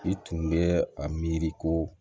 I tun bɛ a miiri ko